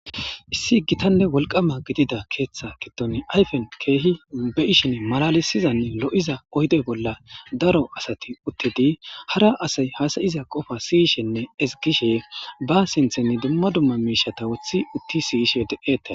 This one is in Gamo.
Issi gitanne wolqaAma gidida keeththa giddon ayfen keehi be7ishin malalisizanne lo7iza oyde bolla daro asati uttidi hara asay hasa7iza qofa siyishenne ezggishe ba sinthen dumma dumma miishata woththi utti si7ishe de7ete